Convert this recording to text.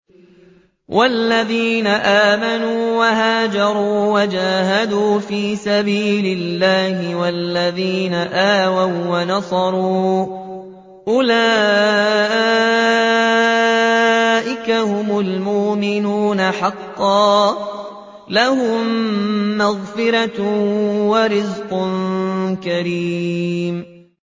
وَالَّذِينَ آمَنُوا وَهَاجَرُوا وَجَاهَدُوا فِي سَبِيلِ اللَّهِ وَالَّذِينَ آوَوا وَّنَصَرُوا أُولَٰئِكَ هُمُ الْمُؤْمِنُونَ حَقًّا ۚ لَّهُم مَّغْفِرَةٌ وَرِزْقٌ كَرِيمٌ